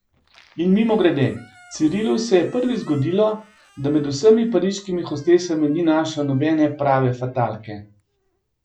In mimogrede, Cirilu se je prvič zgodilo, da med vsemi pariškimi hostesami ni našel nobene prave fatalke.